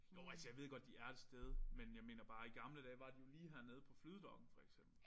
Jo altså jeg ved jo godt de er et sted men jeg mener i gamle dage var de jo lige hernede på Flydedokken for eksempel